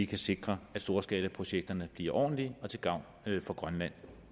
kan sikre at storskalaprojekterne bliver ordentlige og til gavn for grønland